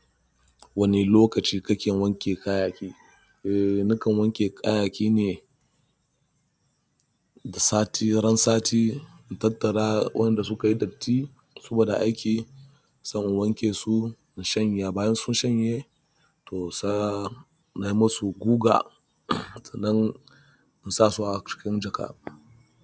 Wani lokaci kake wanke kayayyaki? Eh na kan wanke kayayyaki ne da sati, ran sati. In tattara waɗanda suka yi datti, saboda aiki, zan wanke su, in shanya. Bayan sun shanye to sa na yi musu guga, sannan in sa su a cikin jaka.